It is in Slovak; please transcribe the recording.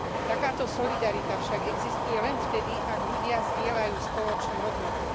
Takáto solidarita však existuje len vtedy, ak ľudia zdieľajú spoločné hodnoty.